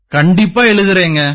கண்டிப்பா எழுதறேங்க